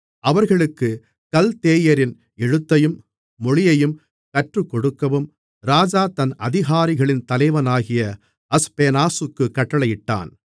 அவர்களுக்குக் கல்தேயரின் எழுத்தையும் மொழியையும் கற்றுக்கொடுக்கவும் ராஜா தன் அதிகாரிகளின் தலைவனாகிய அஸ்பேனாசுக்கு கட்டளையிட்டான்